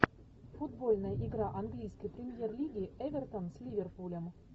футбольная игра английской премьер лиги эвертон с ливерпулем